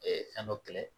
fɛn dɔ kɛlɛ